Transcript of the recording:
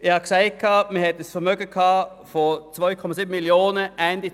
Ich habe gesagt, dass man Ende 2015 ein Vermögen von 2,7 Mio. Franken hatte.